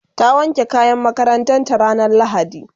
ta wanke kayan makarantanta ranar lahadi